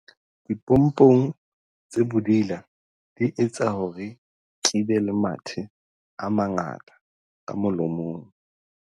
dipompong tse bodila di etsa hore ke be le mathe a mangata ka molomong